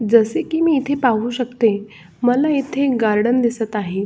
जस मी इथ पाहू शकते मला इथ एक गार्डन दिसत आहे.